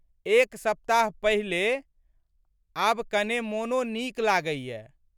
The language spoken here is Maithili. एक सप्ताह पहिले। आब कने मोनो नीक लागैए।